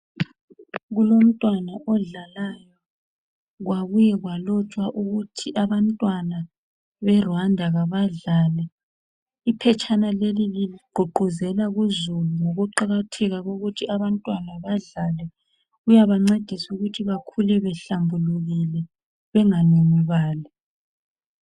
Kulomntwana odlalayo kwabuya kwalotshwa ukuthi abantwana beRwanda abadlale. Iphetshana leli ligqugquzela uzulu ngokuqakatheka kokuthi abantwana badlale kuyabancedisa ukuthi bakhule behlambulukile benga nunubali.